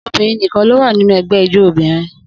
Obìnrin nìkan ló wà nínú ẹgbẹ́ ijó obìnrin.